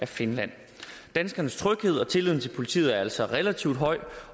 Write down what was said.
finland danskernes tryghed og tilliden til politiet er altså relativt høj